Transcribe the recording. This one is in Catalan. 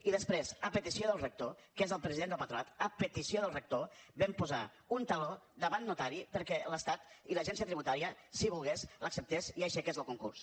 i després a petició del rector que és el president del patronat a petició del rector vam posar un taló davant notari perquè l’estat i l’agència tributària si volien l’acceptessin i aixequessin el concurs